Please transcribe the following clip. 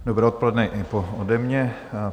Dobré odpoledne i ode mě.